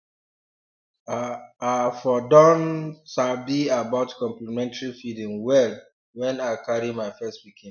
ah i for don for don sabi about complementary feeding well when i carry my first pikin